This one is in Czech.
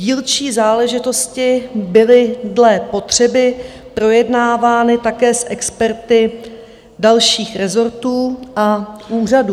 Dílčí záležitosti byly dle potřeby projednávány také s experty dalších rezortů a úřadů.